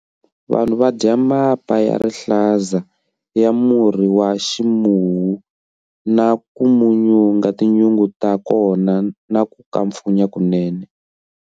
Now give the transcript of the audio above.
Vanhu va dya mapa ya mihandzu ya murhi wa ximuwu na ku munyunga tinyungu ta kona na ku kampfunya kunene.